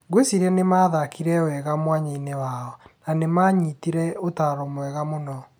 Ngwĩciria nĩ mathakire wega mwanya-inĩ wao. Na nĩ manyitire ũtaaro wega mũno."